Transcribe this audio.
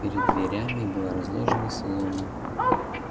перед дверями была разложена солома